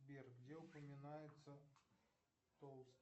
сбер где упоминается